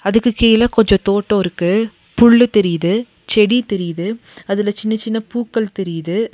அதுக்கு கீழ கொஞ்சோ தோட்டோ இருக்கு புல்லு தெரியிது செடி தெரியிது அதுல சின்னச் சின்ன பூக்கள் தெரியிது.